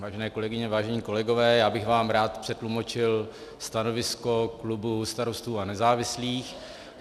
Vážené kolegyně, vážení kolegové, já bych vám rád přetlumočil stanovisko klubu Starostů a nezávislých.